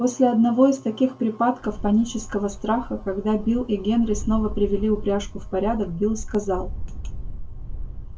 после одного из таких припадков панического страха когда билл и генри снова привели упряжку в порядок билл сказал